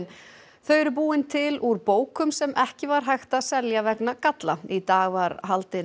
þau eru búin til úr bókum sem ekki var hægt að selja vegna galla í dag var haldin